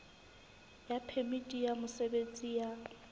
ya phemiti ya mosebetsi ya